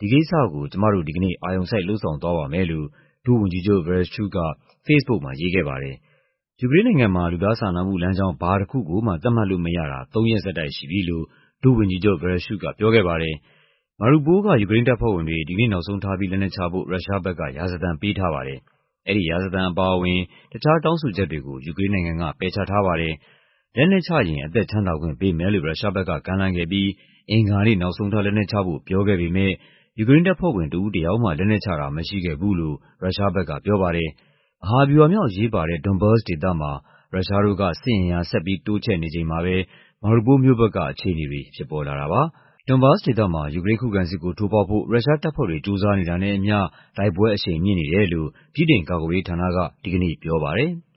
ဒီကိစ္စကို ကျမတို့ ဒီကနေ့ အာရုံစိုက် လုပ်ဆောင်သွားပါမယ်" လို့ ဒုဝန်ကြီးချုပ် Vereshchuk က ဖေ့စ်ဘုတ်မှာ ရေးခဲ့ပါတယ်။ ယူကရိန်းနိုင်ငံမှာ လူသားစာနာမှုလမ်းကြောင်း ဘာတခုကိုမှ သတ်မှတ်လို့မရတာ သုံးရက်ဆက်တိုက်ရှိပြီလို့ ဒုဝန်ကြီးချုပ် Vereshchuk ကပြောခဲ့ပါတယ်။ Mariupol က ယူကရိန်းတပ်ဖွဲ့ဝင်တွေ ဒီကနေ့နောက်ဆုံးထားပြီး လက်နက်ချဖို့ ရုရှားဘက်က ရာဇသံပေးထားပါတယ်။ အဲဒီရာဇသံအပါအဝင် တခြားတောင်းဆိုချက်တွေကို ယူကရိန်းနိုင်ငံက ပယ်ချထားပါတယ်။ လက်နက်ချရင် အသက်ချမ်းသာခွင့်ပေးမယ်လို့ ရုရှားဘက်က ကမ်းလှမ်းခဲ့ပြီး အင်္ဂါနေ့ နောက်ဆုံးထား လက်နက်ချဖို့ ပြောခဲ့ပေမယ့် ယူကရိန်းတပ်ဖွဲ့ဝင် တဦးတယောက်မှ လက်နက်ချတာ မရှိခဲ့ဘူးလို့ ရုရှားဘက်ကပြောပါတယ်။ မဟာဗျူဟာမြောက် အရေးပါတဲ့ Donbas ဒေသမှာ ရုရှားတို့က စစ်အင်အား ဆက်ပြီးတိုးချဲ့နေချိန်မှာပဲ Mariupol မြို့ဘက်ကအခြေအနေတွေ ဖြစ်ပေါ်လာတာပါ။ Donbas ဒေသမှာ ယူကရိန်း ခုခံစစ်ကို ထိုးဖောက်ဖို့ ရုရှားတပ်ဖွဲ့တွေ ကြိုးစားနေတာနဲ့အမျှ တိုက်ပွဲအရှိန်မြင့်နေတယ်လို့ ဗြိတိန်ကာကွယ်ရေးဌာနက ဒီကနေ့ပြောပါတယ်။